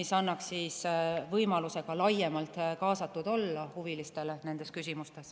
See annaks huvilistele võimaluse laiemalt kaasatud olla nendes küsimustes.